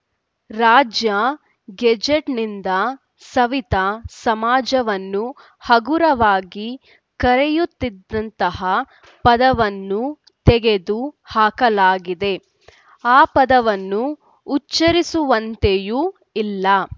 ರಾಜ್ಯ ಗೆಜೆಟ್‌ನಿಂದ ಸವಿತಾ ಸಮಾಜವನ್ನು ಹಗುರವಾಗಿ ಕರೆಯುತ್ತಿದ್ದಂತಹ ಪದವನ್ನು ತೆಗೆದು ಹಾಕಲಾಗಿದೆ ಆ ಪದವನ್ನು ಉಚ್ಚರಿಸುವಂತೆಯೂ ಇಲ್ಲ